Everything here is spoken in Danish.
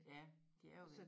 Ja de er jo væk